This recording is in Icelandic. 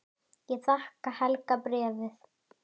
Ég þakka Helga bréfið.